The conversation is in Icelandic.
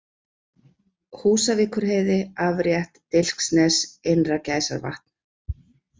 Húsavíkurheiði, Afrétt, Dilksnes, Innra-Gæsavatn